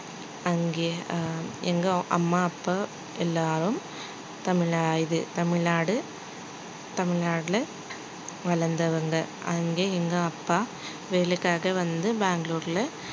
அங்க ஆஹ் எங்க அம்மா அப்பா எல்லாரும் தமிழா~ இது தமிழ்நாடு தமிழ்நாட்டிலே வளர்ந்தவங்க அங்கே எங்க அப்பா வேலைக்காக வந்து பெங்களூருல